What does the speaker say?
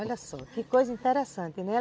Olha só, que coisa interessante, né?